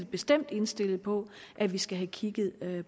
bestemt indstillet på at vi skal have kigget